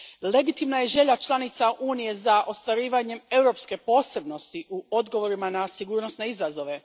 Legitimna je želja članica Unije za ostvarivanjem europske posebnosti u odgovorima na sigurnosne izazove.